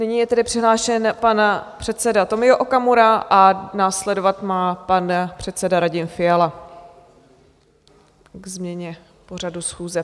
Nyní je tedy přihlášen pan předseda Tomio Okamura a následovat má pan předseda Radim Fiala ke změně pořadu schůze.